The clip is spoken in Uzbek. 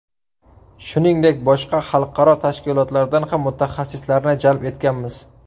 Shuningdek, boshqa xalqaro tashkilotlardan ham mutaxassislarni jalb etganmiz.